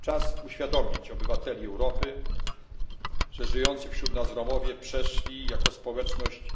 Czas uświadomić obywatelom Europy, że żyjący wśród nas Romowie przeszli jako społeczność